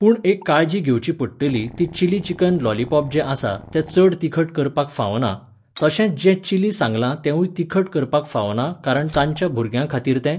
पूण एक काळजी घेवची पडटली ती चिली चिकन लॉलिपॉप जें आसा तें चड तिखट करपाक फावना, तशेंच जें चिली सांगला तेवूंय तिखट करपाक फावना कारण तांच्या भुरग्यां खातीर तें